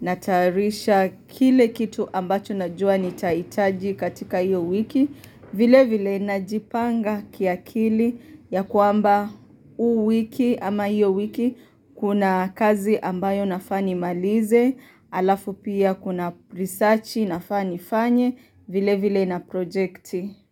natayarisha kile kitu ambacho najua nitaitaji katika hiyo wiki, vile vile najipanga kiakili ya kwamba huu wiki ama hiyo wiki kuna kazi ambayo nafaa ni malize, alafu pia kuna risachi nafaa ni fanye vile vile na projekti.